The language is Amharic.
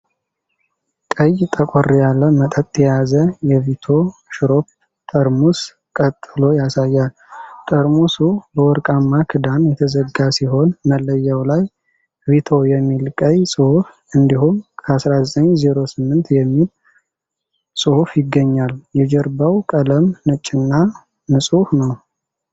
ቀይ ጠቆር ያለ መጠጥ የያዘ የቪቶ ሽሮፕ ጠርሙስ ቀጥሎ ያሳያል። ጠርሙሱ በወርቃማ ክዳን የተዘጋ ሲሆን፣ መለያው ላይ "ቪቶ" የሚል ቀይ ጽሑፍ እንዲሁም "ከ 1908" የሚል ጽሑፍ ይገኛል። የጀርባው ቀለም ነጭና ንጹሕ ነው።